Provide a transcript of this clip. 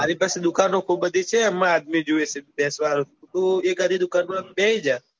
મારી પાસે દુકાનો ખુબ બધી છે એમાં આદમી જોઈએ છે વેચવા તું એક આદી દુકાન માં બેસી જા.